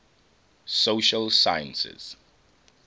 social sciences